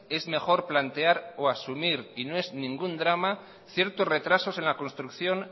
es mejor plantear o asumir y no es ningún drama ciertos retrasos en la construcción